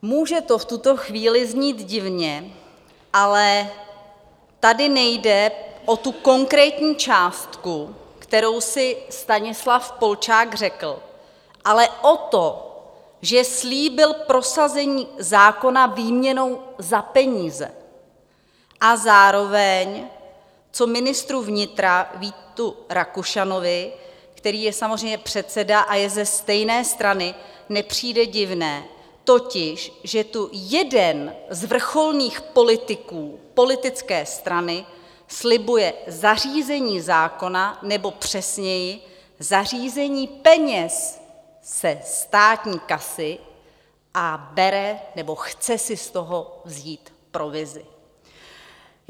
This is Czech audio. Může to v tuto chvíli znít divně, ale tady nejde o tu konkrétní částku, kterou si Stanislav Polčák řekl, ale o to, že slíbil prosazení zákona výměnou za peníze, a zároveň, co ministru vnitra Vítu Rakušanovi, který je samozřejmě předseda a je ze stejné strany, nepřijde divné, totiž že tu jeden z vrcholných politiků politické strany slibuje zařízení zákona, nebo přesněji zařízení peněz ze státní kasy a bere, nebo chce si z toho vzít provizi.